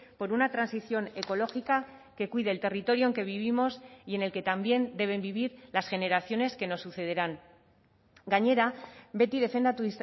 por una transición ecológica que cuide el territorio en que vivimos y en el que también deben vivir las generaciones que nos sucederán gainera beti defendatu